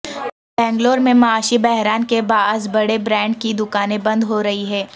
بنگلور میں معاشی بحران کے باعث بڑے برانڈ کی دکانیں بند ہورہی ہیں